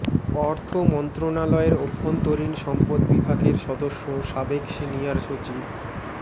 অর্থ মন্ত্রণালয়ের অভ্যন্তরীণ সম্পদ বিভাগের সদ্য সাবেক সিনিয়র সচিব মো